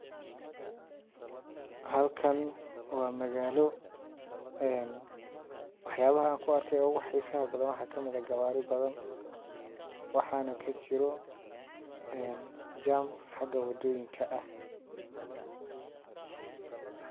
Halkan waa magaalo een waax yabaha an ku arka ugu xiisaha badan waxaa ka mid ah gawaari badan waxaana ka jiro een jam xagga wadooyinka ah.